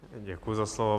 Děkuji za slovo.